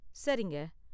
சரிங்க.